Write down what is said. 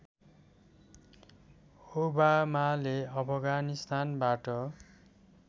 ओबामाले अफगानिस्तानबाट